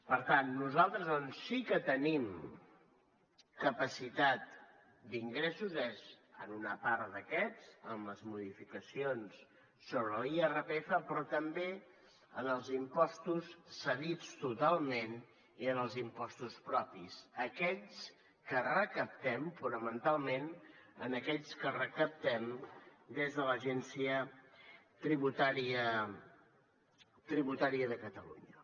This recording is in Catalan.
per tant nosaltres on sí que tenim capacitat d’ingressos és en una part d’aquests amb les modificacions sobre l’irpf però també en els impostos cedits totalment i en els impostos propis aquells que recaptem fonamentalment aquells que recaptem des de l’agència tributària de catalunya